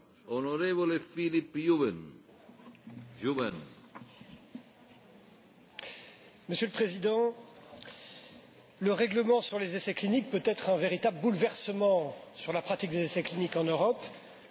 Monsieur le Président, le règlement sur les essais cliniques peut amener un bouleversement dans la pratique des essais cliniques en Europe, pour plusieurs raisons d'abord, les procédures seront homogénéisées sur tout le territoire de l'Union,